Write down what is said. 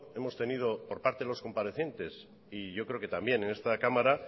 hemos tenido por parte de los comparecientes y yo creo que también en esta cámara